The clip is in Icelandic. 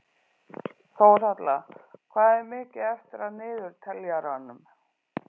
Þórhalla, hvað er mikið eftir af niðurteljaranum?